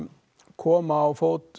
koma á fót